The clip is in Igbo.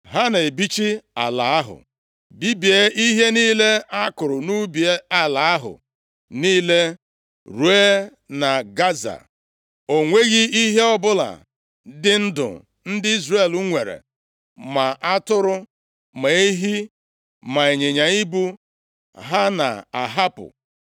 Ha na-ebichi ala ahụ, bibie ihe niile a kụrụ nʼubi nʼala ahụ niile ruo na Gaza. O nweghị ihe ọbụla dị ndụ ndị Izrel nwere, ma atụrụ, ma ehi, ma ịnyịnya ibu, ha na-ahapụ.